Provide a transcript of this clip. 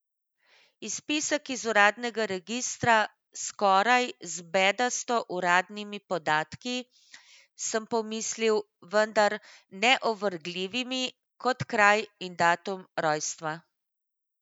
Izpisek iz uradnega registra, skoraj, z bedasto uradnimi podatki, sem pomislil, vendar neovrgljivimi, kot kraj in datum rojstva ...